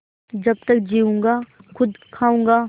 जब तक जीऊँगा खुद खाऊँगा